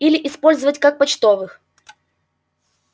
или использовать как почтовых